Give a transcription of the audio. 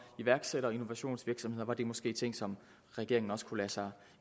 iværksættere og innovationsvirksomheder var det måske ting som regeringen også kunne lade sig